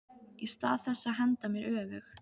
Í stað þess að henda mér öfug